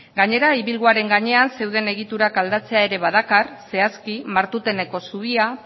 gainera ibilguaren gainean zeuden egiturak aldatzea ere badakar zehazki martuteneko zubia